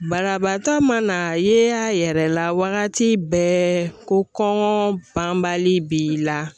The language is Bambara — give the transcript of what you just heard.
Banabaatɔ mana ye a yɛrɛ la wagati bɛɛ ko kɔŋɔɔ banbali b'i la